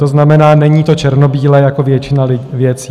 To znamená, není to černobílé - jako většina věcí.